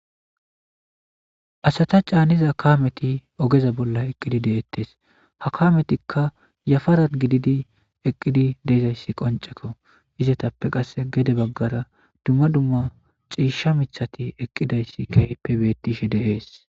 Asata caaniza kameti ogeza bolla eqqidi deettes. Ha kametikka yafara gididi eqqidi deezayssi qoncceko. Izetappe qasse gede baggara dumma dumma ciishsha michati eqqidayssi keypebetishe deees.